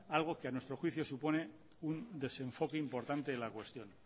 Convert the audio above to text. algo que a nuestro juicio supone un desenfoque importante de la cuestión